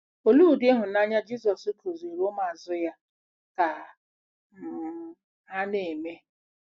Olee ụdị ịhụnanya Jizọs kụziiri ụmụazụ ya ka um ha na-eme?